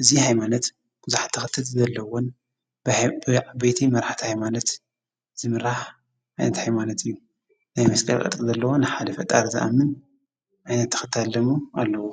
እዙ ኃይማነት ጕዙሕ ተኽተት ዝዘለዎን ብዕ ቤቲ መርኃቲ ኣይማነት ዝምራሕ ኣይነት ኣይማነት እዩ ናይ መስቀል ቕጥቂ ዘለዎን ሓደ ፈጣር ዝኣምን ዓይነት ተከታሊ ኣለዎ::